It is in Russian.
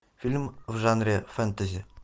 фильм в жанре фэнтези